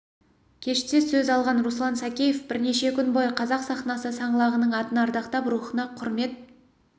кеште сөз алған руслан сәкеев бірнеше күн бойы қазақ сахнасы саңлағының атын ардақтап рухына құрмет